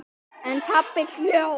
En pabbi hló.